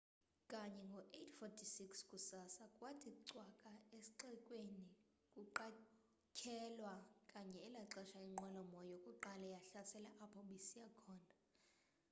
kanye ngo 8:46 kusasa kwathi cwaka esxekweni kuqatshelwa kanye elaxesha inqwelo moya yokuqala yahlasela apho bisiya khona